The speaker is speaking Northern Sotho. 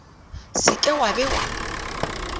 se ke wa be wa